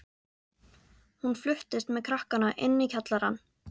Hún fluttist með krakkana inn í kjallarann.